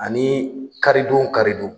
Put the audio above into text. Ani karidon o karidon